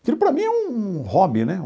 Aquilo para mim é um hobby, né?